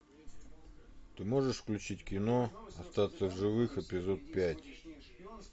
ты можешь включить кино остаться в живых эпизод пять